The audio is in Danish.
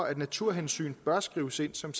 at naturhensyn bør skrives ind som